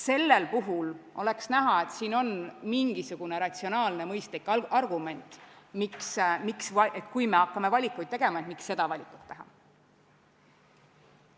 Sellel puhul oleks näha, et siin on mingisugune ratsionaalne mõistlik argument, et kui me hakkame valikut tegema, siis miks seda valikut teha.